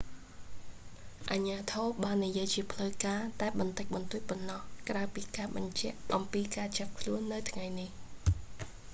អាជ្ញាធរបាននិយាយជាផ្លូវការតែបន្តិចបន្តួចប៉ុណ្ណោះ ក្រៅពីការបញ្ជាក់អំពីការចាប់ខ្លួននៅថ្ងៃនេះ